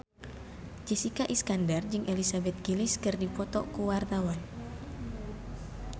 Jessica Iskandar jeung Elizabeth Gillies keur dipoto ku wartawan